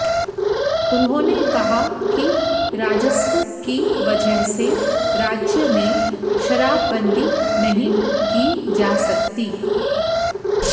उन्होंने कहा कि राजस्व की वजह से राज्य में शराबबंदी नहीं की जा सकती